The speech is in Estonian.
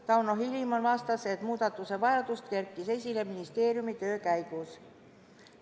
Tauno Hilimon vastas, et muudatuse vajadus kerkis esile ministeeriumi töö käigus.